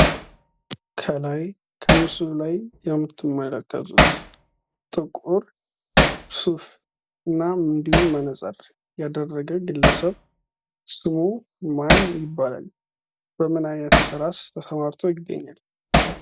ከላይ ከምስሉ ላይ የምትመለከቱት ጥቁር ሱፍ እና እንዲሁም መነጽር ያደረገ ግለሰብ ስሙ ማን ይባላል? በምን አይነት ስራስ ተሰማርቶ ይገኛል?